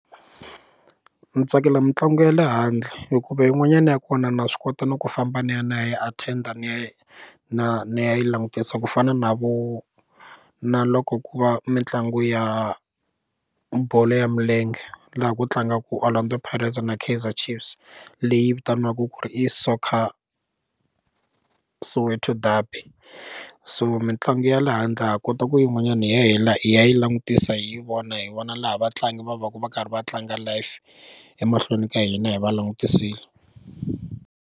Ni tsakela mitlangu ya le handle hikuva yin'wanyana ya kona na swi kota no ku famba ni ya ni ya attend ni ya na ni ya yi langutisa ku fana na vo na loko ku va mitlangu ya bolo ya milenge laha ku tlangaka Orlando Pirates na Kaizer Chiefs leyi vitaniwaka ku ri i Soccer Soweto Duby so mitlangu ya le handle ha kota ku yin'wanyana hi ya hi la hi ya yi langutisa hi vona hi vona laha vatlangi va va ka va karhi va tlanga life emahlweni ka hina hi va langutisile.